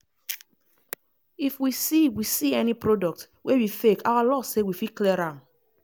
if we see we see any product wey be fake our law say we fit clear am.